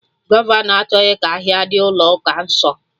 Gọvọnọ achọghị ka ahịa dị ụlọ ụka nso